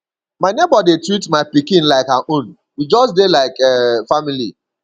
my nebor dey treat my pikin like her own we just dey like um family